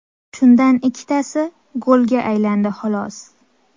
Shundan ikkitasi golga aylandi xolos.